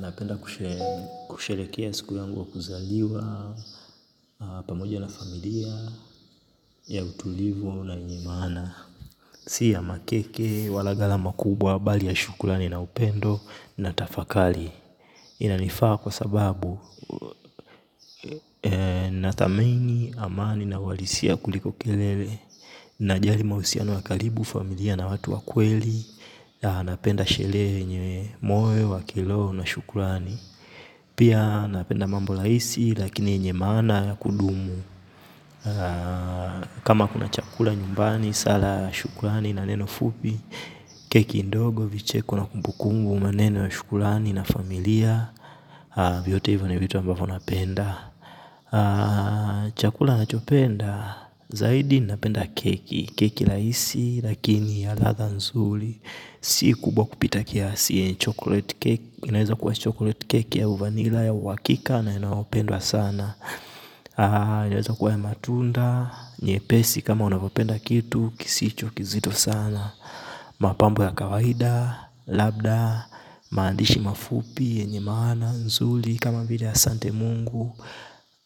Napenda kusherehekea siku yangu wa kuzaliwa pamoja na familia ya utulivu na yenye maana. Si ya makeke wala gharama kubwa bali ya shukrani na upendo. Na tafakari. Inanifaa kwa sababu nathamini, amani na uhalisia kuliko kelele. Najali mahusiano ya karibu, familia na watu wa kweli. Na napenda sherehe yenye moyo wa kiroho na shukurani. Pia napenda mambo rahisi lakini yenye maana ya kudumu. Kama kuna chakula nyumbani, sala, shukurani na neno fupi. Keki ndogo, vicheko na kumbukumbu, maneno, shukurani na familia. Vyote hivyo vitu ambavyo napenda. Chakula nachopenda, zaidi napenda keki. Keki rahisi lakini ya ladha nzuri si kubwa kupita kiasi, inaweza kuwa chokoleti cake au vanilla ya uhakika na inayopendwa sana. Inaweza kuwa ya matunda, nyepesi kama unavyopenda kitu kisicho kizito sana. Mapambo ya kawaida, labda, maandishi mafupi, yenye maana nzuri. Kama vile asante Mungu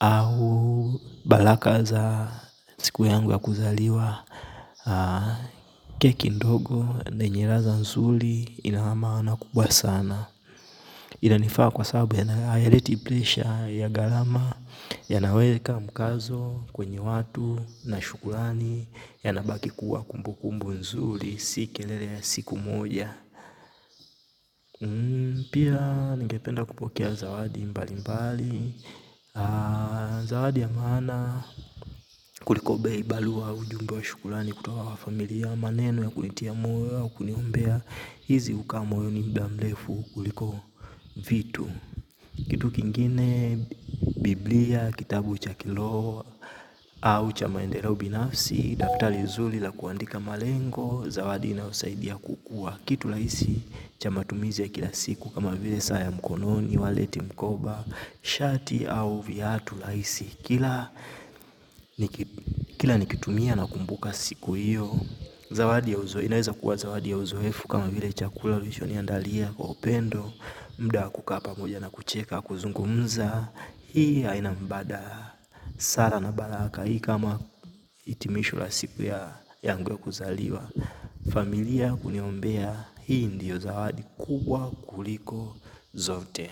au barakaa za siku yangu ya kuzaliwa. Keki ndogo na yenye ladha nzuri ina maana kubwa sana. Ina nifaa kwa sababu hayaleti presha ya gharama. Yanaweka mkazo kwenye watu na shukurani yanabaki kuwa kumbukumbu nzuri si kelele ya siku moja. Pia ningependa kupokea zawadi mbali mbali. Zawadi ya maana kuliko bei balua ujumbe wa shukulani kutoka kwa familia ya maneno ya kunitia moyo au, kuniombea, hizi ukaa moyoni mudamlefu kuliko vitu. Kitu kingine, biblia, kitabu cha kiloho, au cha maendeleo binafsi, daftali nzuli la kuandika malengo, zawadi inaosaidia kukua. Kitu laisi, cha matumizi ya kila siku, kama vile saa ya mkononi, waleti mkoba, shati au viatu laisi kila kila nikitumia na kumbuka siku hiyo. Zawadi ya uzoefu, inaweza kuwa zawadi ya uzoefu kama vile chakula ulisho niandalia kwa upendo. Mda wa kukaa pamoja na kucheka kuzungumza. Hii haina mbada sara na baraka hii kama itimisho la siku ya yangu ya kuzaliwa. Familia kuniombea, hii ndiyo zawadi kuwa kuliko zote.